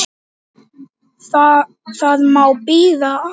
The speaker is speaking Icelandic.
Það má bíða aðeins.